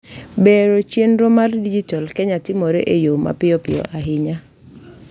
bero chienro mar dijital Kenya timore e yoo mapiyopiyo ayinya